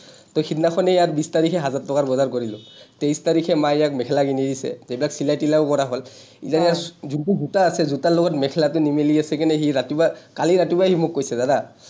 তহ সিদিনাখনেই ইয়াৰ বিশ তাৰিখে হাজাৰ টকাৰ বজাৰ কৰিলো। তেইশ তাৰিখে মায়ে ইয়াক মেখেলা কিনি দিছে। সেইবিলাক চিলাই তিলাইও কৰা হ’ল। যোনটো জোতা আছে, জোতাৰ লগত মেখেলাটো নিমিলি আছে কাৰণে সি ৰাতিপুৱা, কালি ৰাতিপুৱা সি মোক কৈছে জানা,